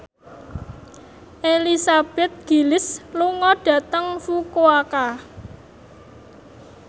Elizabeth Gillies lunga dhateng Fukuoka